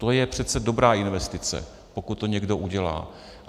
To je přece dobrá investice, pokud to někdo udělá.